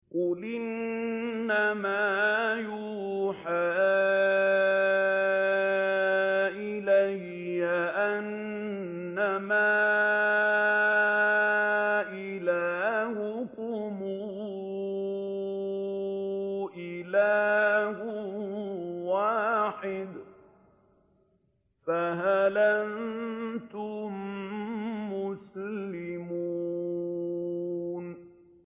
قُلْ إِنَّمَا يُوحَىٰ إِلَيَّ أَنَّمَا إِلَٰهُكُمْ إِلَٰهٌ وَاحِدٌ ۖ فَهَلْ أَنتُم مُّسْلِمُونَ